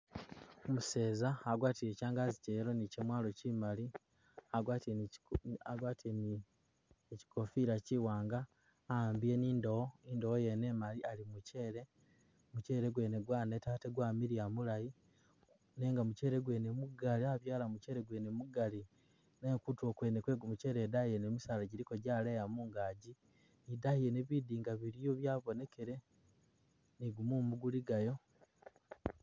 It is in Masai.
Umuseza agwatile changazi cha yellow chamwalo chimali agwatile ne agwatile ne chikofila chiwanga aambile ne indowo, indowo ingene imali ali mumuchele, muchele gwene gwaneta ate gwamiliya mulaayi nenga muchele gwene mugaali abyala muchele gwene mugaali nenga kutulo kwene kwe kumuchele misaala